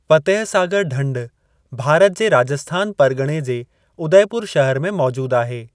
फ़तेह सागर ढंढु भारत जे राजस्थान परगि॒णे जे उदयपुर शहर में मौजूद आहे।